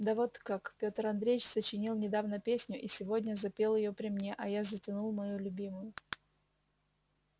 да вот как петр андреич сочинил недавно песню и сегодня запел её при мне а я затянул мою любимую